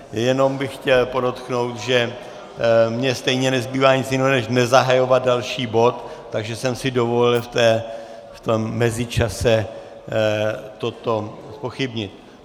Jenom bych chtěl podotknout, že mi stejně nezbývá nic jiného, než nezahajovat další bod, takže jsem si dovolil v tom mezičase toto zpochybnit.